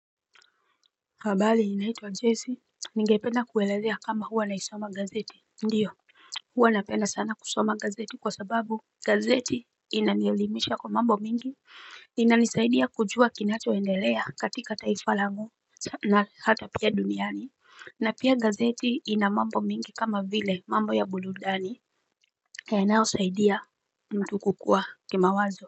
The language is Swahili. Habari naitwa Jesse. Ningependa kuelezea kama huwa naisoma gazeti Ndiyo huwa napenda sana kusoma gazeti kwa sababu gazeti inanielimisha kwa mambo mingi inanisaidia kujua kinachoendelea katika taifa langou na hata pia duniani na pia gazeti ina mambo mengi kama vile mambo ya burudani Yanayosaidia mtu kukua kimawazo.